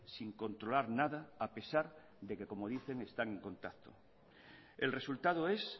sin controlar nada a pesar de que como dice están en contacto el resultado es